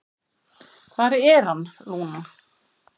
"""Hvar er hann, Lúna?"""